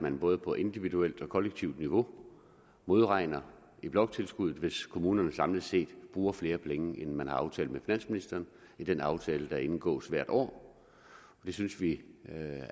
man både på individuelt og kollektivt niveau modregner i bloktilskuddet hvis kommunerne samlet set bruger flere penge end man har aftalt med finansministeren i den aftale der indgås hvert år det synes vi